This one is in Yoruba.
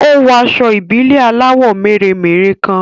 Ó wọ aṣọ ìbílẹ̀ aláwọ̀ mèremère kan